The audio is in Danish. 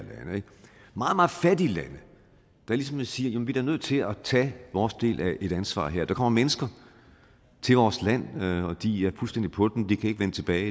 meget meget fattige land der ligesom siger vi er da nødt til at tage vores del af et ansvar her for der kommer mennesker til vores land og de er fuldstændig på den de kan ikke vende tilbage